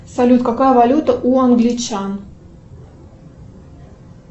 салют какая валюта у англичан